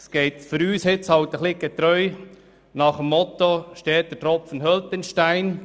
Für uns gilt das Motto «Steter Tropfen höhlt den Stein.